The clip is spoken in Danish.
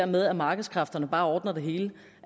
med at markedskræfterne bare ordner det hele